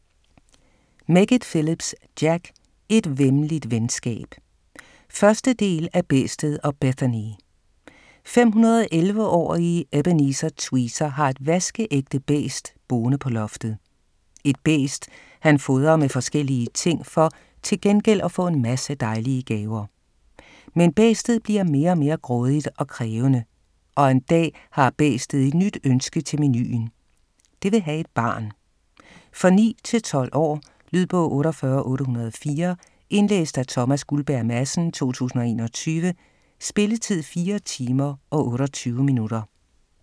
Meggitt-Phillips, Jack: Et væmmeligt venskab 1. del af Bæstet og Bethany. 511-årige Ebenezer Tweezer har et vaskeægte bæst boende på loftet. Et bæst han fodrer med forskellige ting for til gengæld at få en masse dejlige gaver. Men bæstet bliver mere og mere grådigt og krævende, og en dag har bæstet et nyt ønske til menuen - det vil have et barn! For 9-12 år. Lydbog 48804 Indlæst af Thomas Guldberg Madsen, 2021. Spilletid: 4 timer, 28 minutter.